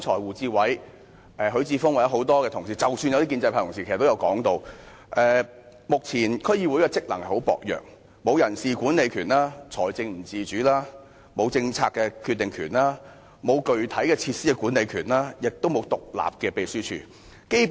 胡志偉議員、許智峯議員或其他議員，即使是部分建制派議員剛才也提到，目前區議會的職能十分薄弱，沒有人事管理權、財政不自主、沒有政策決定權、沒有具體的設施管理權，亦沒有獨立的秘書處。